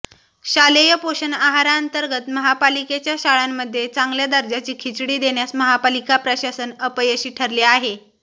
शालेय पोषण आहारांतर्गत महापालिकेच्या शाळांमध्ये चांगल्या दर्जाची खिचडी देण्यास महापालिका प्रशासन अपयशी ठरले आहे